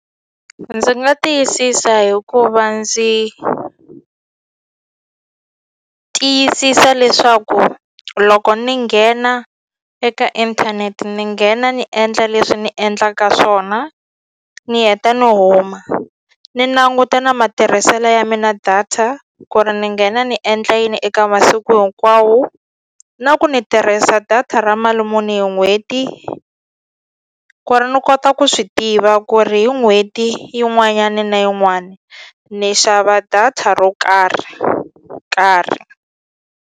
Ndzi nga tiyisisa hi ku va ndzi tiyisisa leswaku loko ni nghena eka inthanete ni nghena ni endla leswi ni endlaka swona ni heta ni huma ni languta na matirhiselo ya mina data ku ri ni nghena ni endla yini eka masiku hinkwawo na ku ni tirhisa data ra mali muni hi n'hweti ku ri ni kota ku swi tiva ku ri hi n'hweti yin'wanyani na yin'wani ni xava data ro karhi, karhi.